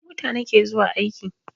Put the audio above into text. Da mota na ke zuwa aiki